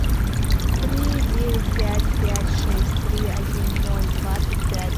три девять пять пять шесть три один ноль двадцать пять